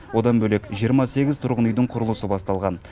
одан бөлек жиырма сегіз тұрғын үйдің құрылысы басталған